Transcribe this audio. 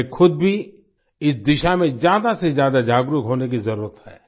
हमें खुद भी इस दिशा में ज्यादा से ज्यादा जागरूक होने की जरुरत है